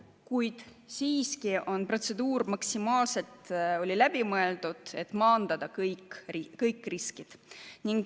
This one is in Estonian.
Kuid siiski oli protseduur maksimaalselt läbi mõeldud, et maandada kõiki riske.